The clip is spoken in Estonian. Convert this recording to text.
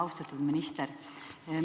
Austatud minister!